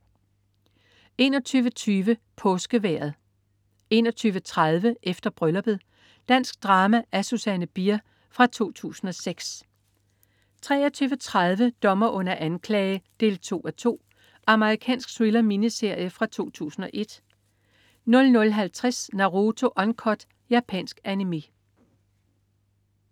21.20 Påskevejret 21.30 Efter Brylluppet. Dansk drama af Susanne Bier fra 2006 23.30 Dommer under anklage 2:2. Amerikansk thriller-miniserie fra 2001 00.50 Naruto Uncut. Japansk Animé